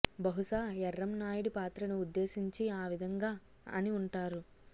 బహుశా ఎర్రంనాయుడి పాత్రను ఉద్దేశించి ఆ విధంగా అని ఉంటారు